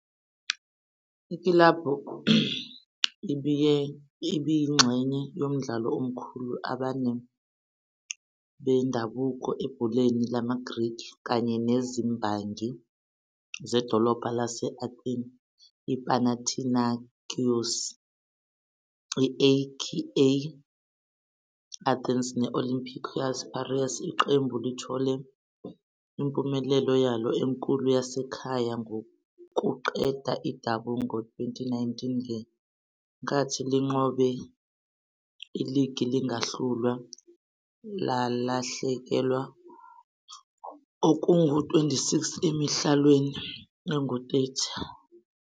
Ikilabhu ibiyingxenye yomdlalo "omkhulu abane" bendabuko ebholeni lamaGreki, kanye nezimbangi zedolobha lase-Athene iPanathinaikos, i-AEK Athens ne-Olympiacos Pireaus. Iqembu lithole impumelelo yalo enkulu yasekhaya ngokuqeda iDouble ngo-2019 ngenkathi linqobe iligi lingahlulwa, lalahlekelwa okungu-26 emidlalweni engu-30.